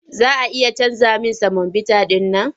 Za a iya canja min semobita ɗin man?